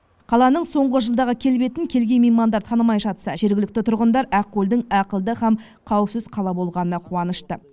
қаланың соңғы жылдағы келбетін келген меймандар танымай жатса жергілікті тұрғындар ақкөлдің ақылды һәм қауіпсіз қала болғанына қуанышты